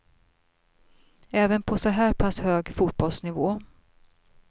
Även på så här pass hög fotbollsnivå.